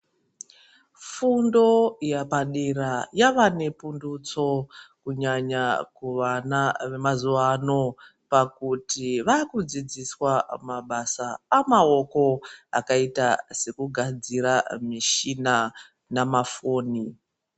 Fundo yepadera yava nepundutso kunyanya kuvana vemazuwa ano pakuti vakudzidziswa mabasa amaoko akaita sekugadzira mishina nemafoni.